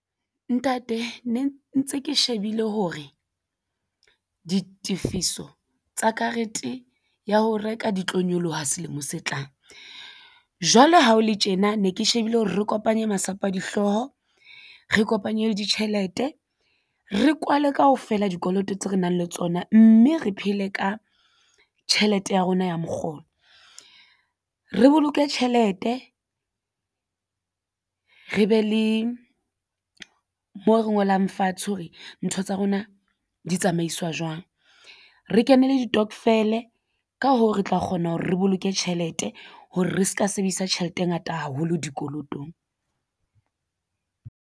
Ntate ne ntse ke shebile hore ditifiso tsa karete ya ho reka di tlo nyoloha selemo se tlang jwale ha o le tjena ne ke shebile hore re kopanye masapo a dihlooho re kopanye le ditjhelete re kwale kaofela dikoloto tse re nang le tsona mme re phele ka tjhelete ya rona ya mokgolo. Re boloke tjhelete re be le mo re ngolang fatshe hore ntho tsa rona di tsamaiswa jwang. Re kenele ditokofele ka hoo re tla kgona hore re boloke tjhelete hore re se ka sebedisa tjhelete e ngata haholo dikolotong.